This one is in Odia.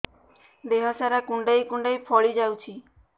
ଦେହ ସାରା କୁଣ୍ଡାଇ କୁଣ୍ଡାଇ ଫଳି ଯାଉଛି